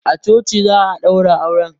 A coci za a ɗaura auren.